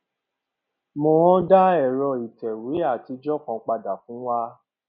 mohan dá ẹrọ ìtẹwé àtijọ kan padà fún wa